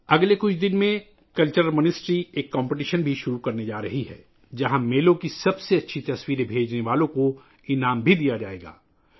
آئندہ چند روز میں وزارت ثقافت ایک مقابلہ بھی شروع کرنے جا رہی ہے، جہاں میلوں کی بہترین تصاویر بھیجنے والوں کو انعامات سے بھی نوازا جائے گا